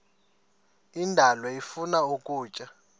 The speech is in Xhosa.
indalo ifuna ukutya